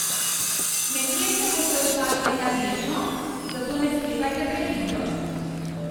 Nekje se boste ustavili le bežno, zato ne sklepajte prehitro.